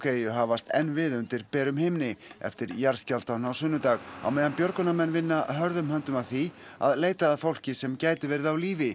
eyju hafast enn við undir berum himni eftir jarðskjálftann á sunnudag á meðan björgunarmenn vinna hörðum höndum að því að leita að fólki sem gæti verið á lífi